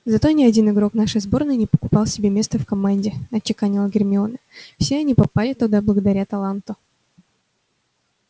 зато ни один игрок нашей сборной не покупал себе место в команде отчеканила гермиона все они попали туда благодаря таланту